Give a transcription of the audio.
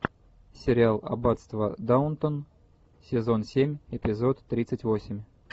сериал аббатство даунтон сезон семь эпизод тридцать восемь